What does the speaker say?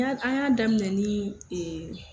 Y'a an y'a daminɛ nii